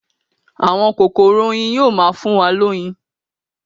Àwọn kokoro oyin yóò má fún wa loyin.